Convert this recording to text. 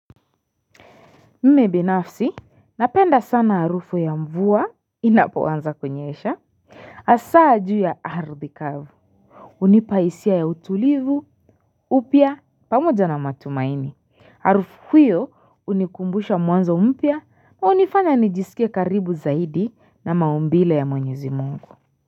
Mimi binafsi, napenda sana harufu ya mvua inapoanza kunyesha. Hasa juu ya ardhi kavu. Unipa hisia ya utulivu, upya pamoja na matumaini. Harufu huyo unikumbusha mwanzo mpya unifanya nijisikia karibu zaidi na maumbile ya mwenyezi mungu.